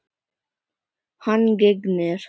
Hann gegnir.